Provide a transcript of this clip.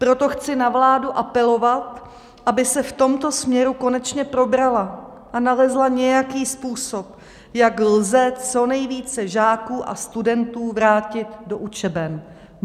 Proto chci na vládu apelovat, aby se v tomto směru konečně probrala a nalezla nějaký způsob, jak lze co nejvíce žáků a studentů vrátit do učeben.